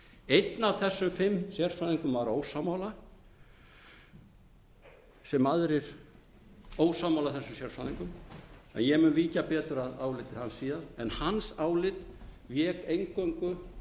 einn af þessum fimm sérfræðingum var ósammála þeim sérfræðingum og ég mun víkja betur að áliti hans síðar álit hans vék eingöngu